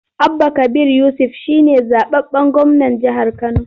Abba Kabir Yusuf shi ne zaɓaɓɓen gwamnan jihar Kano.